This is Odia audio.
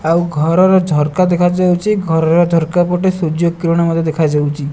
ଆଉ ଘରର ଝରକା ଦେଖାଯାଉଚି ଘରର ଝରକା ପଟେ ସୂର୍ଯ୍ୟ କିରଣ ମଧ୍ୟ ଦେଖାଯାଉଚି ।